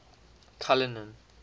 cullinan